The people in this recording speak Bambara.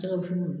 Jɛgɛ wusu o